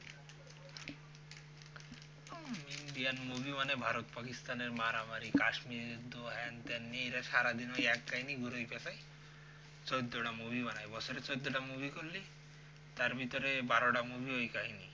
indian movie মানে ভারত পাকিস্থানের মারামারি কাশ্মীর তো হেন তেন নিয়ে এরা সারাদিন ওই এক কাহানি ঘুরাই প্যাঁচাই চোদ্দটা movie বানাই বছরে চোদ্দটা movie করলেই তার ভেতরে বারোটা movie ওই কাহানি